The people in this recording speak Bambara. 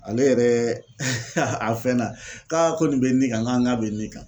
Ale yɛrɛ a fɛn na k'a ko nin bɛ nin kan n k'a bɛ nin kan.